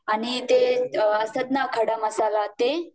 आणि ते असतात ना, खडा मसाला ते